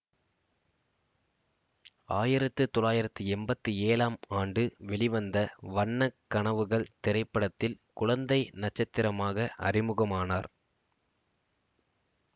ஆயிரத்தி தொள்ளாயிரத்தி எம்பத்தி ஏழும் ஆண்டு வெளிவந்த வண்ண கனவுகள் திரைப்படத்தில் குழந்தை நட்சத்திரமாக அறிமுகமானார்